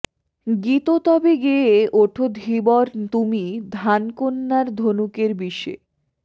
গীত তবে গেয়ে ওঠো ধীবর তুমি ধানকন্যার ধনুকের বিষে